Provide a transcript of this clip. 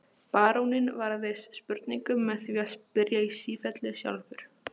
Baróninn varðist spurningum með því að spyrja í sífellu sjálfur.